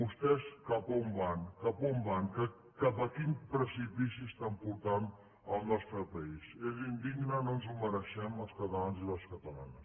vostès cap a on van cap a quin precipici estan portant el nostre país és indigne no ens ho mereixem els catalans i les catalanes